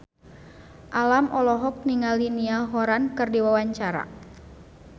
Alam olohok ningali Niall Horran keur diwawancara